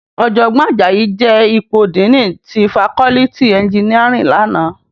Òjògbòn Ajayi je ipó dìní ti fákòlìtí ènjìníárìn làná